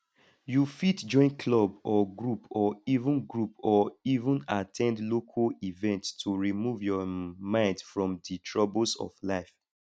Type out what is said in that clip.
you fit join club or group or even group or even at ten d local events to remove your um mind from di troubles of life